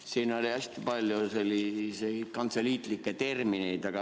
Siin oli hästi palju selliseid kantseliitlikke termineid.